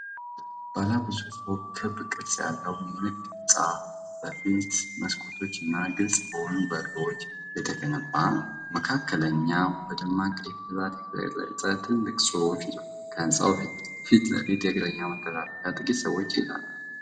ባለ ብዙ ፎቅ ክብ ቅርጽ ያለው የንግድ ህንጻ በሰፊ መስኮቶች እና ግልጽ በሆኑ በሮች የተገነባ ነው። መካከለኛው በደማቅ ቀይ ፊደላት የተቀረጸ ትልቅ ጽሑፍ ይዟል። ከህንጻው ፊት ለፊት የእግረኛ መተላለፊያ ላይ ጥቂት ሰዎች ይሄዳሉ።